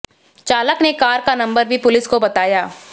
चालक ने कार का नंबर भी पुलिस को बताया